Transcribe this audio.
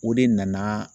O de nana